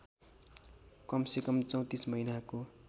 कमसेकम ३४ महिनाको